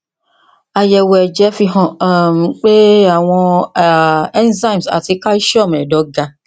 àyẹwò ẹjẹ fihàn um pé àwọn um enzymes ati calcium ẹdọ ga